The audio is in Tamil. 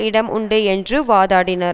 இடம் உண்டு என்று வாதாடினார்